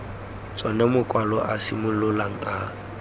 tsona makwalo a simololang a